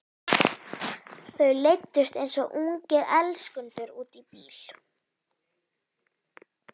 Þau leiddust eins og ungir elskendur út í bíl.